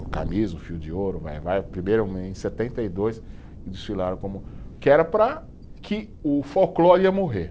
O Camisa, o Fio de Ouro, o Vai-Vai, primeiro em setenta e dois, que desfilaram como, que era para que o folclore ia morrer.